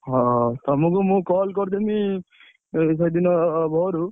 ହଉ ତମକୁ ମୁଁ call କରିଦେବି ସେଦିନ ଭୋରୁ।